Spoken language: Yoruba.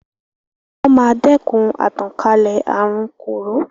Wọ́n máa dẹkun àtànkálẹ̀ àrun kòró.